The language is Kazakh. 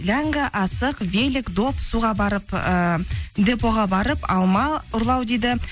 ләңгі асық велик доп суға барып ыыы дпо ға барып алма ұрлау дейді